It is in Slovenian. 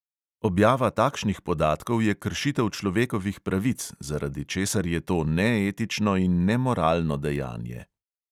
Objava takšnih podatkov je kršitev človekovih pravic, zaradi česar je to neetično in nemoralno dejanje.